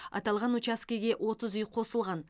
аталған учаскеге отыз үй қосылған